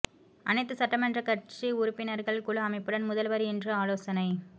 அனைத்து சட்டமன்ற கட்சி உறுப்பினர்கள் குழு அமைப்புடன் முதல்வர் இன்று ஆலோசனை